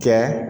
Kɛ